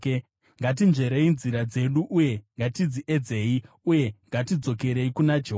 Ngatinzverei nzira dzedu uye ngatidziedzei, uyewo ngatidzokerei kuna Jehovha.